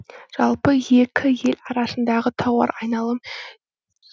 жалпы екі ел арасындағы тауар айналым